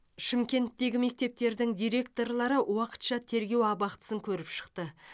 шымкенттегі мектептердің директорлары уақытша тергеу абақтысын көріп шықты